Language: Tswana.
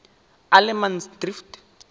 allemansdrift